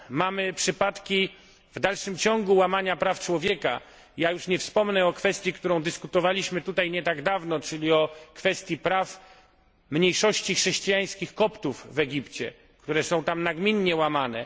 W dalszym ciągu mamy przypadki łamania praw człowieka nie wspomnę o kwestii, którą dyskutowaliśmy tutaj nie tak dawno, czyli o kwestii praw mniejszości chrześcijańskich Koptów w Egipcie, które są tam nagminnie łamane.